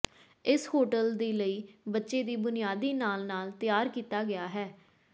ਇਸ ਹੋਟਲ ਦੀ ਲਈ ਬੱਚੇ ਦੀ ਬੁਨਿਆਦੀ ਨਾਲ ਨਾਲ ਤਿਆਰ ਕੀਤਾ ਗਿਆ ਹੈ